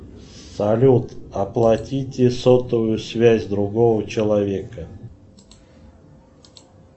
салют оплатите сотовую связь другого человека